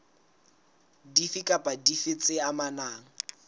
dife kapa dife tse amanang